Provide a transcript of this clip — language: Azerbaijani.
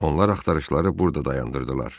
Onlar axtarışları burada dayandırdılar.